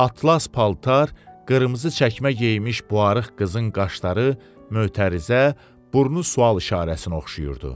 Atlas paltar, qırmızı çəkmə geymiş bu arıq qızın qaşları mötərizə, burnu sual işarəsinə oxşayırdı.